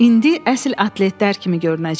İndi əsl atletlər kimi görünəcək.